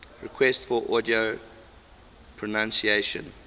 requests for audio pronunciation